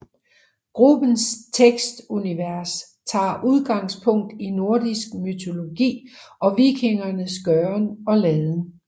Gruppens tekstunivers tager udgangspunkt i nordisk mytologi og vikingernes gøren og laden